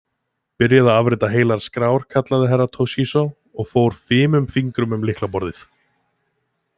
Byrjaðu að afrita heilar skrár, kallaði Herra Toshizo og fór fimum fingrum um lylkaborðið.